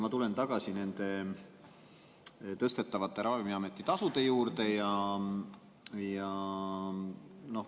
Ma tulen tagasi nende Ravimiameti tõstetavate tasude juurde.